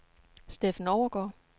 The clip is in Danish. Steffen Overgaard